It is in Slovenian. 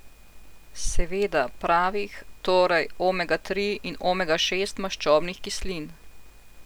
Seveda pravih, torej omega tri in omega šest maščobnih kislin.